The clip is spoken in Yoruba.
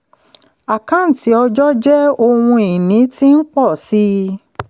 àkáǹtí ọjọ́ jẹ́ ohun ìní tí ń pọ̀ sí i.